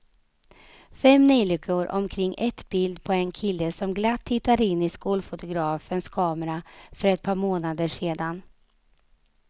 Fem neljikor omkring ett bild på en kille som glatt tittade in i skolfotografens kamera för ett par månader sedan.